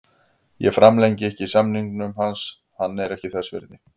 Ég framlengi ekki samningnum hans, hann er ekki þess virði.